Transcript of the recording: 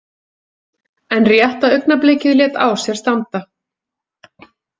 En rétta augnablikið lét á sér standa.